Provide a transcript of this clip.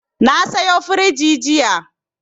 Na sayo firiji jiya.